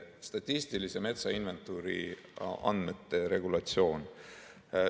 Statistilise metsainventuuri andmete regulatsioon.